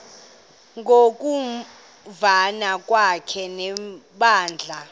ngokuvana kwakhe nebandla